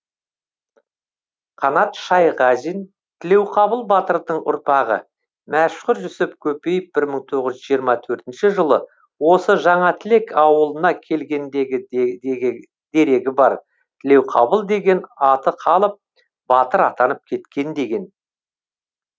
қанат шайғазин тілеуқабыл батырдың ұрпағы мәшһүр жүсіп көпеев бір мың тоғыз жүз жиырма төртінші жылы осы жаңатілек ауылына келгендегі дерегі бар тілеуқабыл деген аты қалып батыр атанып кеткен деген